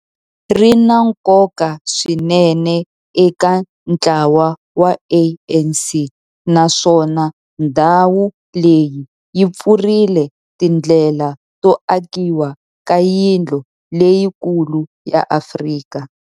Ri na nkoka swinene eka ntlawa wa ANC, naswona ndhawu leyi yi pfurile tindlela to akiwa ka yindlu leyikulu ya Afrika.